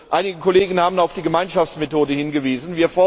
Einige Kollegen haben auf die Gemeinschaftsmethode hingewiesen.